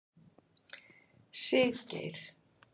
Siggeir